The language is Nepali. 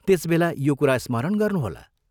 त्यस बेला यो कुरा स्मरण गर्नुहोला।